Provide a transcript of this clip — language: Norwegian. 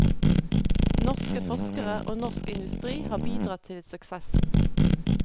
Norske forskere og norsk industri har bidratt til suksessen.